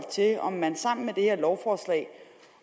til om man sammen med det her lovforslag